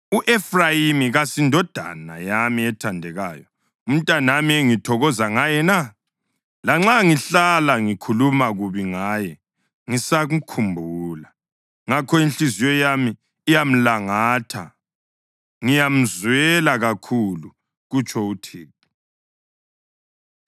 U-Efrayimi kasindodana yami ethandekayo, umntanami engithokoza ngaye na? Lanxa ngihlala ngikhuluma kubi ngaye ngisamkhumbula. Ngakho inhliziyo yami iyamlangatha; ngiyamzwela kakhulu, kutsho uThixo.